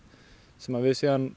sem við